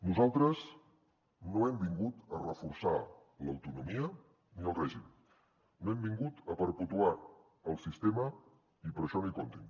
nosaltres no hem vingut a reforçar l’autonomia ni el règim no hem vingut a perpetuar el sistema i per això no hi comptin